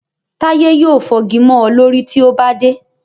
Táyé yóò fọ́gi mọ́ ọ lórí tí o bá dé